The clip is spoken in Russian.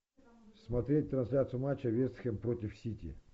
смотреть трансляцию матча вест хэм против сити